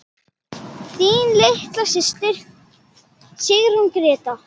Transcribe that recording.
Þín litla systir, Sigrún Gréta.